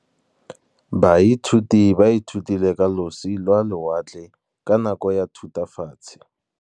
Baithuti ba ithutile ka losi lwa lewatle ka nako ya Thutafatshe.